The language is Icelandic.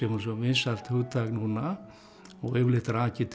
svo vinsælt hugtak núna og yfirleitt rakið til